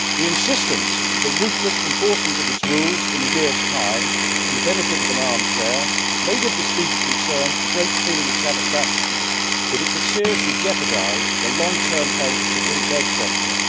Insisting on the ruthless enforcement of its rules in a year's time from the comfort of an armchair may give the speaker a great feeling of satisfaction, but it could seriously jeopardise the long term health of the British egg sector.